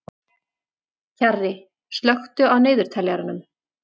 Kjarri, slökktu á niðurteljaranum.